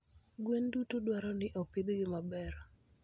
Gwen duto dwaro ni opidhgi maber.